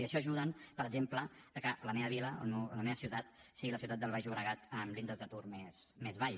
i això ajuda per exemple que la meva vila la meva ciutat sigui la ciutat del baix llobregat amb l’índex d’atur més baix